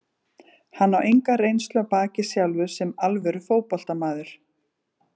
Hann á enga reynslu að baki sjálfur sem alvöru fótboltamaður.